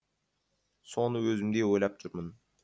соны өзім де ойлап жүрмін